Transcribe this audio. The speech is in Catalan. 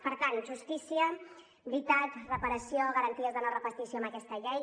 per tant justícia veritat reparació garanties de no repetició amb aquesta llei